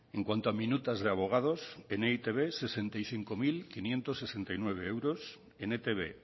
en cuanto a minutas de abogados en e i te be sesenta y cinco mil quinientos sesenta y nueve euros en etb